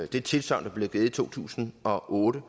det tilsagn der blev givet i to tusind og otte